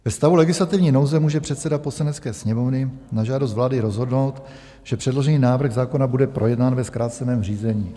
Ve stavu legislativní nouze může předseda Poslanecké sněmovny na žádost vlády rozhodnout, že předložený návrh zákona bude projednán ve zkráceném řízení.